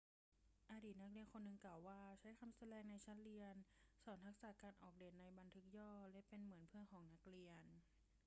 อดีตนักเรียนคนหนึ่งกล่าวว่าเขา ใช้คำสแลงในชั้นเรียน สอนทักษะการออกเดตในบันทึกย่อ และเป็นเหมือนเพื่อนของนักเรียน'